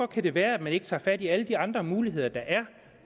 kan det være at man ikke tager fat i alle de andre muligheder der er